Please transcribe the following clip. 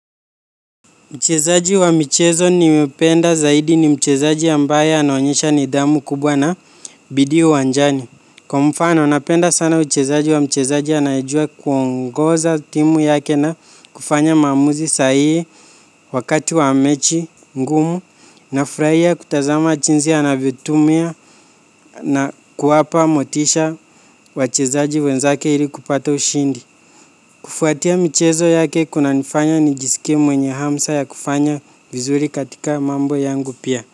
Mchezaji wa michezo nimependa zaidi ni mchezaji ambaye anonyesha nidhamu kubwa na bidi uwanjani. Kwa mfano, napenda sana mchezaji wa mchezaji anayijua kuongoza timu yake na kufanya mamuzi sahihi wakati wa mechi ngumu na furahia kutazama jinzi anavyotumia na kuwapa motisha wachezaji wenzake ili kupata ushindi. Kufuatia michezo yake kuna nifanya nijisikie mwenye hamsa ya kufanya vizuri katika mambo yangu pia.